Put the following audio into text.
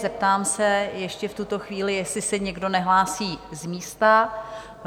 Zeptám se ještě v tuto chvíli, jestli se někdo nehlásí z místa?